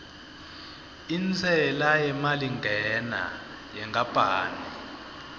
intsela yemalingena yenkapani